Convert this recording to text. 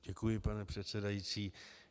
Děkuji, pane předsedající.